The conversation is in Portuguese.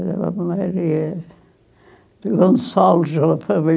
de Gonçalves,